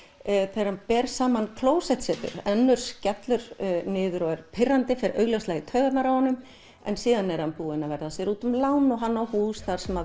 þegar hann ber saman klósettsetur önnur skellur niður og er pirrandi fer augljóslega í taugarnar á honum en síðan er hann búinn að verða sér úti um lán og hann á hús þar sem